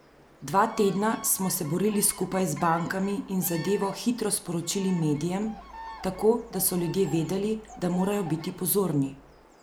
Dva tedna smo se borili skupaj z bankami in zadevo hitro sporočili medijem, tako da so ljudje vedeli, da morajo biti pozorni.